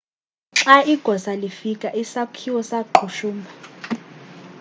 xa igosa lifika isakhiwo saqhushumba